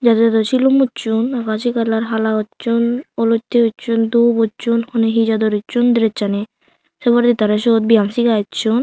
jador jador silum uchon akashi colour hala uchon olotte uchon dhup uchon hone he jador uchon dress ani se poredi tara sut biyam siga achun.